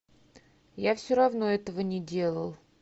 я все равно этого не делал